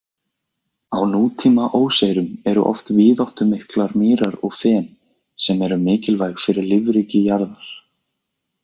Á nútíma óseyrum eru oft víðáttumiklar mýrar og fen, sem eru mikilvæg fyrir lífríki jarðar.